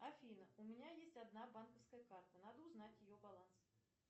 афина у меня есть одна банковская карта надо узнать ее баланс